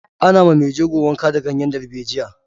Ana ma mai jego wanka da ganyen dalbejiya.